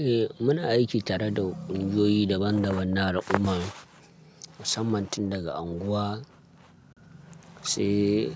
Eh muna aiki tare da ƙungiyoyi daban-daban na al’umma, musamman tun daga unguwa sai